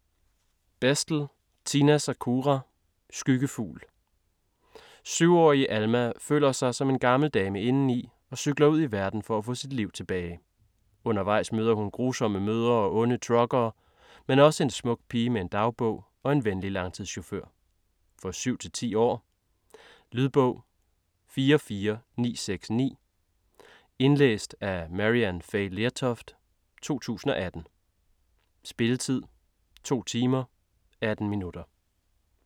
Bestle, Tina Sakura: Skyggefugl 7-årige Alma føler sig som en gammel dame indeni og cykler ud i verden for at få sit liv tilbage. Undervejs møder hun grusomme mødre og onde truckere, men også en smuk pige med en dagbog og en venlig langturschauffør. For 7-10 år. Lydbog 44969 Indlæst af Maryann Fay Lertoft, 2018. Spilletid: 2 timer, 18 minutter.